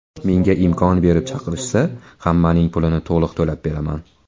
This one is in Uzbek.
Menga imkon berib chiqarishsa, hammaning pulini to‘liq to‘lab beraman.